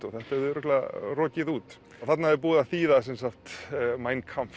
og þetta hefði örugglega rokið út þarna er búið að þýða sem sagt mein Kampf